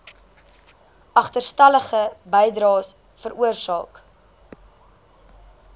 agterstallige bydraes veroorsaak